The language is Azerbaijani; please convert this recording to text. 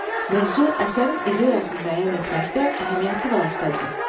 Mövzu əsərin ideyasını müəyyən etməkdə əhəmiyyətli vasitədir.